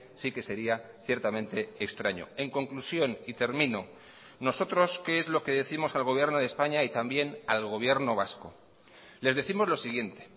sí que sería ciertamente extraño en conclusión y termino nosotros qué es lo que décimos al gobierno de españa y también al gobierno vasco les décimos lo siguiente